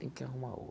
Tenho que arrumar